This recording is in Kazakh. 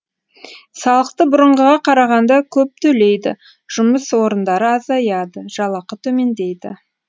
салықты бұрынғыға қарағанда көп төлейді жұмыс орындары азаяды жалақы төмендейді